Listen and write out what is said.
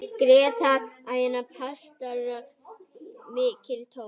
Drekka prestar mikið kók?